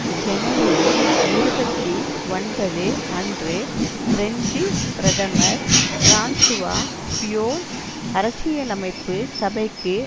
ஜனவரி இருபத்தி ஒன்பது அன்று பிரெஞ்சு பிரதமர் பிரான்சுவா பியோன் அரசியலமைப்பு சபைக்கு